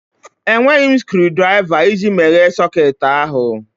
Enweghị m screwdrịva iji meghee socketị ahụ